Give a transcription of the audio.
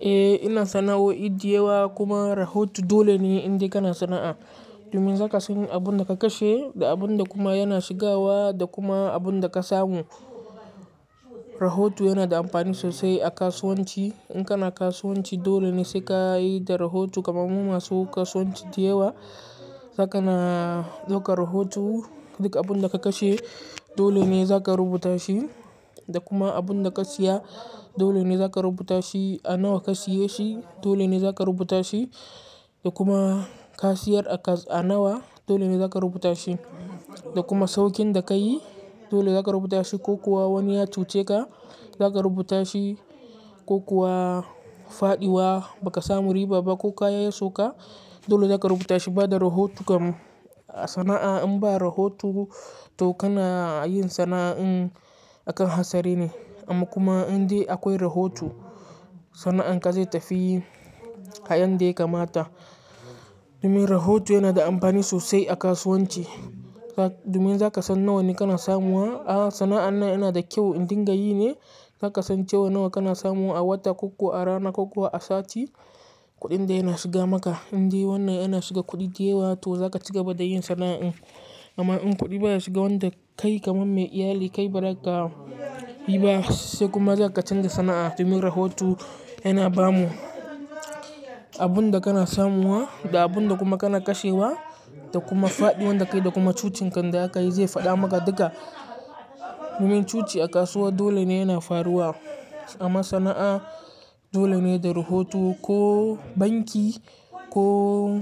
Eh, ina sana'o'i diyawa kuma rahoto dole ne inda kana sana'a. Domin zaka san abunda ka kashe da abunda kuma yana shigawa da kuma abunda ka samu. Rahoto yana da amfani sosai a kasuwanci. In kana kasuwanci dole ne sai ka yi da rahoto kamar mu masu kasuwanci diyawa. Zaka na, ɗaukan rahoto duk abunda ka kashe dole ne zaka rubuta shi da kuma abunda ka siya dole ne zaka rubuta shi, a nawa ka siye shi dole ne zaka rubuta shi da kuma ka siyar a nawa dole ne zaka rubuta shi da kuma sauƙin da kayi dole zaka rubuta shi ko kuwa wani ya cuce ka zaka rubuta shi ko kuwa faɗiwa baka samu riba ba ko kaya ya soka dole zaka rubuta shi. Ba da rahoto kam a sana'a in ba rahoto to kana yin sana'a in akan hatsari ne. Amma kuma inda akwai rahoto sana'an ka zai tafi a yadda ya kamata. Domin rahoto yana da amfani sosai a kasuwanci. Domin zaka san nawa ne kana samuwa, a sana'an nan yana da kyau indin ka yi ne, zaka san cewa nawa kana samuwa a wata ko kuwa a rana ko kuwa a sati kuɗin da yana shiga maka. Indai wannan yana shiga kuɗi diyawa to zaka ci gaba da yin sana'in. Amma in kuɗi baya shiga wanda kai kamar mai iyali kai ba za ka bi ba sai kuma za ka canza sana'a. Domin rahoto yana bamu abunda kana samuwa da abunda kuma kana kashewa da kuma faɗiwan da kai da kuma cucinkin da za ka yi zai faɗa maka duka. Domin cuci a kasuwa dole ne yana faruwa amma sana'a dole ne da rahoto ko banki ko